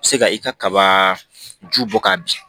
Se ka i ka kaba ju bɔ k'a bin